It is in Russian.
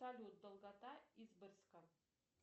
салют долгота изборска